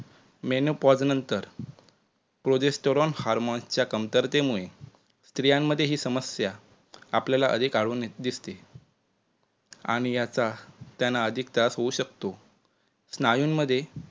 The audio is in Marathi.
menopause नंतर progesterone harmone चा कमतरतेमुळे स्त्रियांमध्ये ही समस्या आपल्याला अधिक आढळून दिसते आणि याचा त्यांना अधिक त्रास होऊ शकतो. स्नायूंमधे